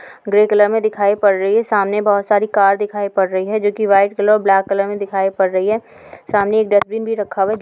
Grey colour में दिखाई पड़ रही है। सामने बहुत सारी कार दिखाई पड़ रही है जो कि वाइट कलर और ब्लैक कलर मे दिखाई पड़ रही है। सामने एक डस्टबिन भी रखा हुआ है।